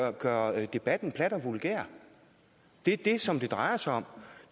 at gøre debatten plat og vulgær det som det drejer sig om